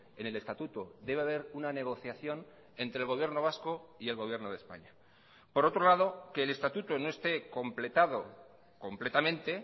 en el estatuto debe haber una negociación entre el gobierno vasco y el gobierno de españa por otro lado que el estatuto no esté completado completamente